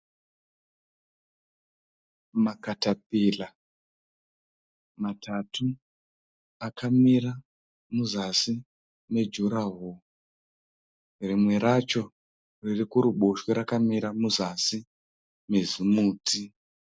Makatapira matatu akamira muzasi mejuraworo. Rimwe racho riri kuruboshwe rakamira muzasi mezimuti.